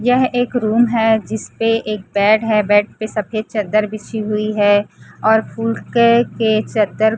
यह एक रूम है जिसपे एक बेड है बेड पे सफेद चद्दर बिछी हुई है और फूल के के चद्दर--